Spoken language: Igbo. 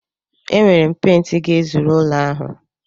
Enwere m pent ga-ezuru ụlọ ahụ.